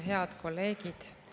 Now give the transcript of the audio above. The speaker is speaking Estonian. Head kolleegid!